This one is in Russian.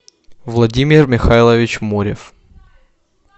владимир михайлович морев